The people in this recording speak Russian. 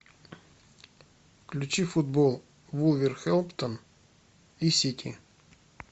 включи футбол вулверхэмптон и сити